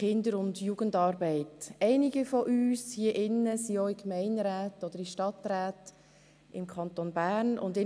Einige von uns sind auch in Gemeinderäten oder Stadträten im Kanton Bern tätig.